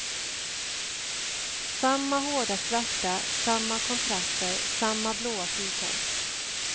Samma hårda svärta, samma kontraster, samma blåa fyrkant.